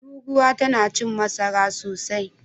Turuwa tana cin masara sosai.